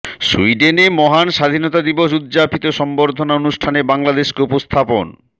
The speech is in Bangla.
সুইডেনে মহান স্বাধীনতা দিবস উদ্যাপিত সংবর্ধনা অনুষ্ঠানে বাংলাদেশকে উপস্থাপন